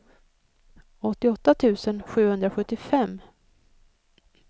åttioåtta tusen sjuhundrasjuttiofem